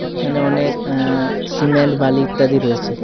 এখানে অনেক আ সিমেন্ট বালি ইত্যাদি রয়েছে।